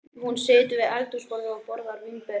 Hún situr við eldhúsborðið og borðar vínber.